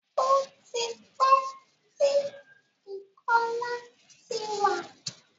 Ó ti pẹ́ tí ìkọlà ti wà.